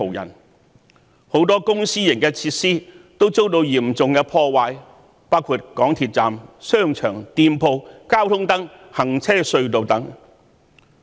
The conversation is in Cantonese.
於是，很多公私營設施都遭到嚴重破壞，包括港鐵站、商場、店鋪、交通燈、行車隧道等。